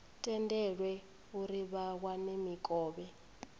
tendelwe uri vha wane mikovhe